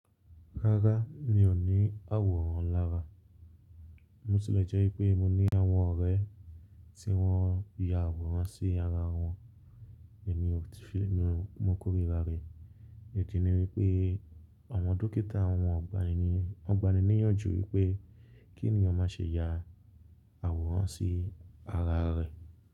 Rárá, mi ò ní àwòrán lára. Bo tì lè jẹ́ pé mo ní àwọn ọ̀rẹ́ tí wọ́n ya àwòrán sí ara wọn, èmi ò ti fi mo kórira rẹ̀. Ìdí ni wípé àwọn dókítà àwọn ọgbà níyànjú wípé kí ènìyàn má ṣe ya àwòrán sí ara rẹ̀.